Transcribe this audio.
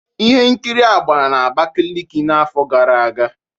Ihe nkiri a gbara na Abakiliki n'afọ gara aga